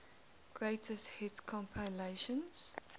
greatest hits compilation